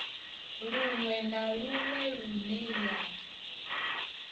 luṅwe na luṅwe lune ya